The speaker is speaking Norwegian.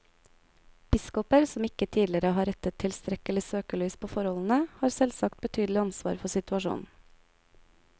Biskoper som ikke tidligere har rettet tilstrekkelig søkelys på forholdene, har selvsagt betydelig ansvar for situasjonen.